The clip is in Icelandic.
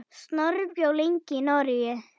Snorri bjó lengi í Noregi.